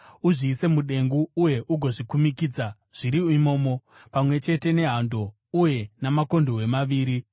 Uzviise mudengu uye ugozvikumikidza zviri imomo, pamwe chete nehando uye makondobwe maviri.